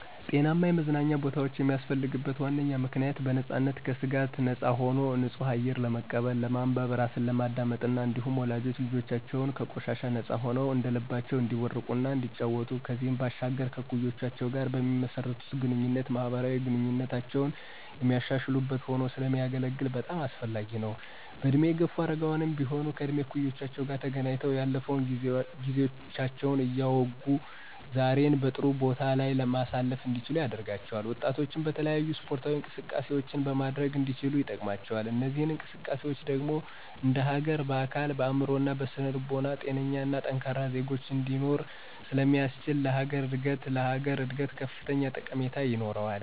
ጤናማ የመዝናኛ ቦታወች የሚያስፈልግበት ዋነኛ ምክንያት .በነፃነትና ከስጋት ነፃ ሆኖ ንፁህ አየር ለመቀበል፣ ለማንበብ፣ ራስን ለማዳመጥ እና እንዲሁም ወላጆች ልጆቻቸው ከቆሻሻ ነፃ ሆነዉ እንደልባቸው እንዲቦርቁ እና እንዲጫወቱ ከዚህም ባሻገር ከእኩዮቻቸው ጋር በሚመሰርቱት ግንኙነት ማህበራዊ ግንኙነታቸውን የሚያሻሽሉበት ሆኖ ስለሚያገለግል በጣም አስፈላጊ ነው። በእድሜ የገፉ አረጋውያንም ቢሆን ከእድሜ እኩዮቻቸው ተገናኝተው ያለፈውን ጊዜያቸውን እያወጉ ዛሬን በጥሩ ቦታ ላይ ማሳለፍ እንዲችሉ ያደርጋቸዋል። ወጣቶችም የተለያዩ ስፖርታዊ እንቅስቃሴዎችን ማድረግ እንዲችሉ ይጠቅማቸዋል። እነዚህ እንቅስቃሴዎች ደግሞ እንደሀገር በአካል፣ በአእምሮ እና በስነ ልቦና ጤነኛና ጠንካራ ዜጎች እንዲኖሮ ስለሚያስችል ለሀገር እድገት ላሀገር እድገት ከፍተኛ ጠቀሜታ ይኖረዋል።